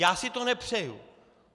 Já si to nepřeju.